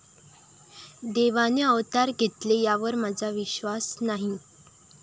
देवाने अवतार घेतेले यावर माझा विश्वास नाही.